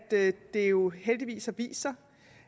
det jo heldigvis har vist sig